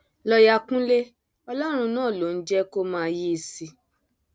lọọọyà kúnlẹ ọlọrun náà ló ń jẹ kó máa yìísì